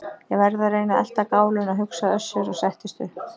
Ég verð að reyna að elta gáluna, hugsaði Össur og settist upp.